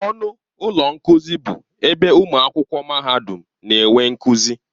Ọnụ ụlọ nkuzi bụ ebe ụmụ akwụkwọ mahadum na-enwe nkuzi.